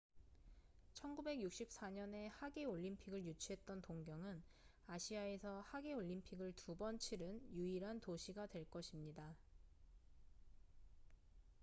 1964년에 하계 올림픽을 유치했던 동경은 아시아에서 하계 올림픽을 두 번 치른 유일한 도시가 될 것입니다